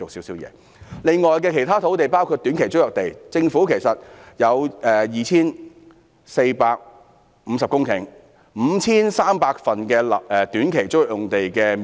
此外，其他土地包括短期租約地，政府有 2,450 公頃土地、5,300 份短期租約用地的面積。